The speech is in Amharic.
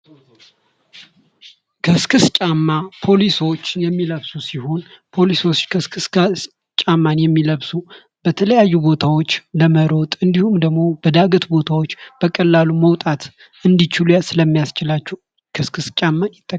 ከስክስ ጫማ ፖሊሶች የሚለብሱት ሲሆን ፖሊሶች ከስክስ ጫማን የሚለብሱ በተለያዩ ቦታዎች ለመሮጥ እንዲሁም ደግሞ በዳገት ቦታዎች በቀላሉ መውጣት እንዲችሉ ስለሚያስችላቸው ከስክስ ጫማ ።